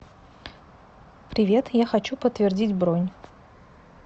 привет я хочу подтвердить бронь